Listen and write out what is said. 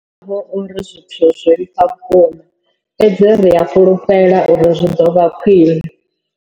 Zwi ḓo vha hu uri zwithu zwo vhifha vhukuma, fhedzi ri a fhulufhela uri zwi ḓo vha khwiṋe.